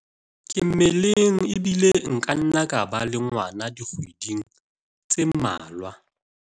ke mmeleng ebile nka nna ka ba le ngwana dikgweding tse mmalwa